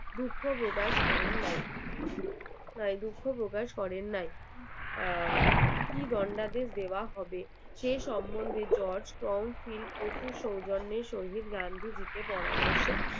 দুঃখ প্রকাশ করেন নাই দুঃখ প্রকাশ করেন নাই আর গন্ডাদেশ দেওয়ার হবে। সেই সৌজন্যে jorge and field প্রচুর সৌজন্যে গান্ধীজিদের পরামর্শ